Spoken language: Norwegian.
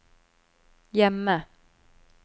hjemme